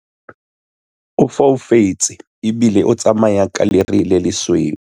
o foufetse ebile o tsamaya ka lere le lesweu